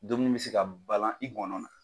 Dumuni bɛ se ka balan i ngɔnɔ na